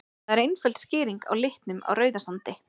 Það er einföld skýring á litnum á Rauðasandi.